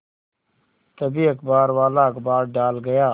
तभी अखबारवाला अखबार डाल गया